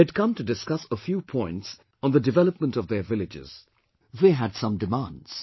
They had come to discuss a few points on the development of their villages; they had some demands